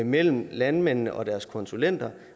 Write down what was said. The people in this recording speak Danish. mellem landmændene og deres konsulenter